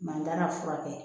Mantan ka furakɛ